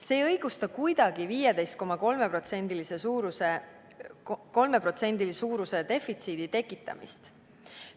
See ei õigusta kuidagi 15,3% suuruse defitsiidi tekitamist.